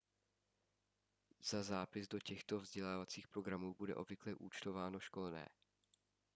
za zápis do těchto vzdělávacích programů bude obvykle účtováno školné